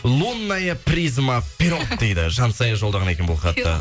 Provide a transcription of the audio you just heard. лунная призма пирог дейді жансая жолдаған екен бұл хатты